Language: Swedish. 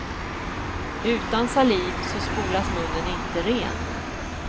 Utan saliv så spolas munnen inte ren.